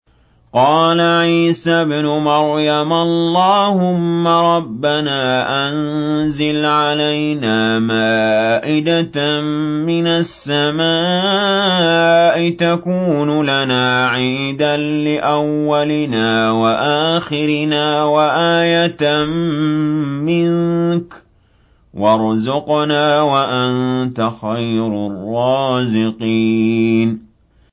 قَالَ عِيسَى ابْنُ مَرْيَمَ اللَّهُمَّ رَبَّنَا أَنزِلْ عَلَيْنَا مَائِدَةً مِّنَ السَّمَاءِ تَكُونُ لَنَا عِيدًا لِّأَوَّلِنَا وَآخِرِنَا وَآيَةً مِّنكَ ۖ وَارْزُقْنَا وَأَنتَ خَيْرُ الرَّازِقِينَ